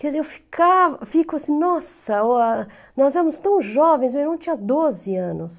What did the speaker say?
Quer dizer, eu ficava, fico assim, nossa, nós éramos tão jovens, meu irmão tinha doze anos.